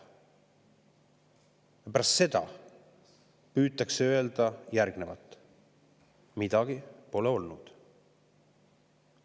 Ja pärast seda püütakse öelda: "Midagi pole olnud!